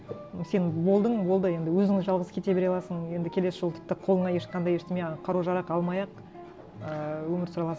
сен болдың болды енді өзің жалғыз кете бере аласың енді келесі жолы тіпті қолыңа ешқандай ештеңе қару жарақ алмай ақ ііі өмір сүре аласың